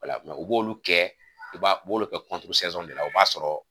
o la u b'olu kɛ u b'olu kɛ de la o b'a sɔrɔ